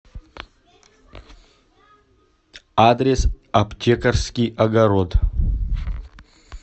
адрес аптекарский огород